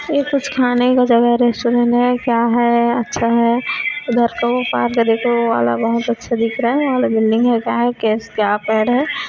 ये कुछ खाने का जगह रेस्टोरेंट है क्या है अच्छा है उधर का ओ पार्क देखो ओ वाला बहोत अच्छा दिख रहा है ओ वाला बिल्डिंग है क्या है केस क्या पेड़ है।